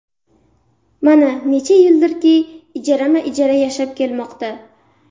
Mana, necha yildirki ijarama-ijara yashab kelmoqda.